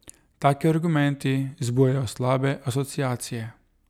Taki argumenti vzbujajo slabe asociacije.